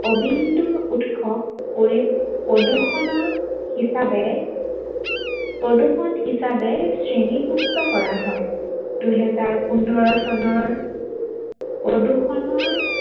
অবিন্দু উৎস কৰি প্ৰদূৰ্ষনৰ হিচাপে, প্ৰদূৰ্ষন হিচাপে শ্ৰেণীভূক্ত কৰা হয়। দুহেজাৰ পোন্ধৰ চনৰ প্ৰদূৰ্ষনৰ